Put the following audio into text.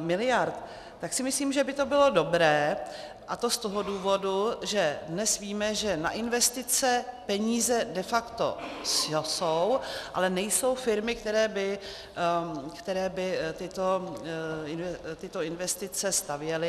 miliard, tak si myslím, že by to bylo dobré, a to z toho důvodu, že dnes víme, že na investice peníze de facto jsou, ale nejsou firmy, které by tyto investice stavěly...